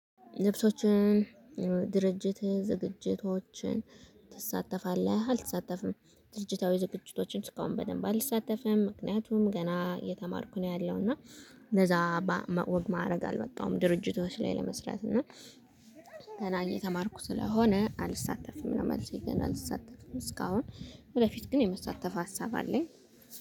ልብሶችን ድርጅት ዝግጅቶችን ትሳተፋለህ? አልተሳተፍም ድርጅታዊ ዝግጅቶችን እስካሁን በደንብ አልሳተፍም ምክንያቱም ገና የተማርኩ ነው ያለው። እና ለዛ ወግ ማዐረግ አልበቃሁም ድርጅቶች ላይ ለመስራት። እና ገና የተማርኩ ስለሆነ አልሳተፍም ነው። መልሴ ገና አልሳተፍም እስካሁን ወደፊት ግን የመሳተፍ ሀሳብ አለኝ